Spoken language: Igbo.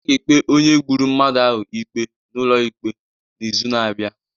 A ga-ekpe onye gburu mmadụ ahụ ikpe n'ụlọ ikpe n'izu na-abịa